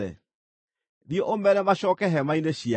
“Thiĩ ũmeere macooke hema-inĩ ciao.